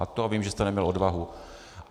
A to vím, že jste neměl odvahu.